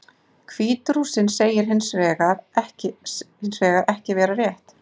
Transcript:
Hvít-Rússinn segir það hins vegar ekki vera rétt.